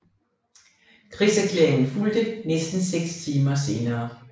Krigserklæringen fulgte næsten 6 timer senere